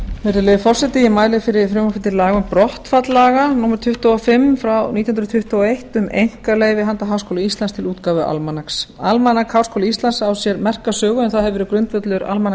virðulegi forseti ég mæli fyrir frumvarpi til laga um brottfall laga númer tuttugu og fimm frá nítján hundruð tuttugu og eitt um einkaleyfi handa háskóla íslands til útgáfu almanaks almanak háskóla íslands á sér merka sögu en það hefur verið grundvöllur